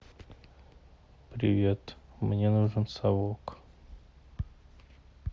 привет мне нужен совок